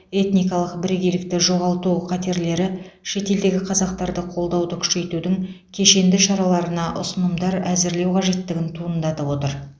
этникалық бірегейлікті жоғалту қатерлері шетелдегі қазақтарды қолдауды күшейтудің кешенді шараларына ұсынымдар әзірлеу қажеттігін туындатып отыр